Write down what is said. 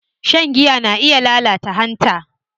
Shan giya na iya lalata hanta.